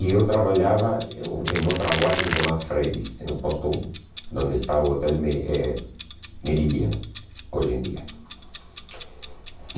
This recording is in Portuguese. E eu trabalhava eh em outra boate que se chamava Fredis, em no Posto um, onde está o Hotel Me eh Meridian, hoje em dia.